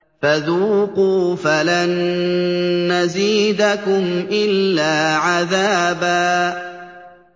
فَذُوقُوا فَلَن نَّزِيدَكُمْ إِلَّا عَذَابًا